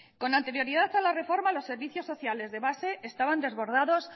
con anterioridad a la reforma los servicios sociales de base estaban desbordados